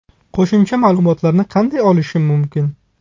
Qo‘shimcha ma’lumotlarni qanday olishim mumkin?